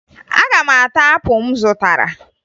Aga m ata apụ m zụtara